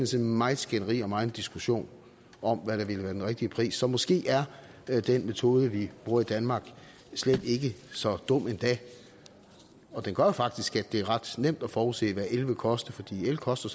til meget skænderi og megen diskussion om hvad der ville være den rigtige pris så måske er den metode vi bruger i danmark slet ikke så dum endda og den gør jo faktisk at det er ret nemt at forudse hvad el vil koste for el koster